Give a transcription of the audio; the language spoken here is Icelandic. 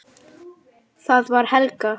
Það var Helga!